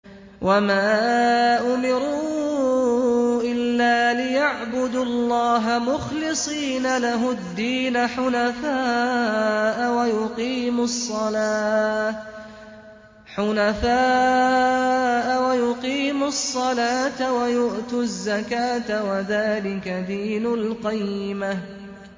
وَمَا أُمِرُوا إِلَّا لِيَعْبُدُوا اللَّهَ مُخْلِصِينَ لَهُ الدِّينَ حُنَفَاءَ وَيُقِيمُوا الصَّلَاةَ وَيُؤْتُوا الزَّكَاةَ ۚ وَذَٰلِكَ دِينُ الْقَيِّمَةِ